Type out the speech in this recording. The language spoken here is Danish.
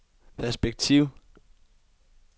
perspektiv